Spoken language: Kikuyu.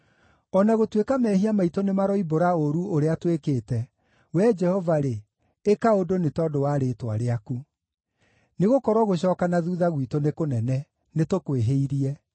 O na gũtuĩka mehia maitũ nĩmaroimbũra ũũru ũrĩa twĩkĩte, Wee Jehova-rĩ, ĩka ũndũ nĩ tondũ wa rĩĩtwa rĩaku. Nĩgũkorwo gũcooka na thuutha gwitũ nĩ kũnene; nĩtũkwĩhĩirie.